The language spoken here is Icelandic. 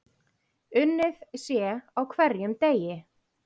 Unnið sé á hverjum degi.